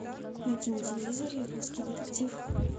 найти на телевизоре русский детектив